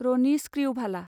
रनि स्क्रिउभाला